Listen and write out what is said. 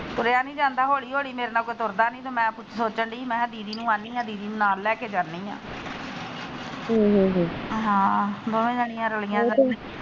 ਤੁਰੀਆਂ ਨੀ ਜਾਂਦਾ ਹੋਲੀ ਹੋਲੀ ਮੇਰੇ ਨਾਲ ਕੋਈ ਤੁਰਦਾ ਨੀ ਤੇ ਮੈ ਸੋਚਣ ਡੀ ਮੈ ਦੀਦੀ ਨੂੰ ਆਣੀ ਆ ਦੀਦੀ ਨੂੰ ਨਾਲ ਲੈਕੇ ਜਾਣੀ ਆ ਹਮ ਹਾਂ ਦੋਵੇ ਜਣੀਆਂ ਰਲੀਆਂ।